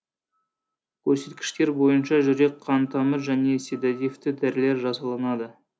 көрсеткіштер бойынша жүрек қантамыр және седативті дәрілер жасалынады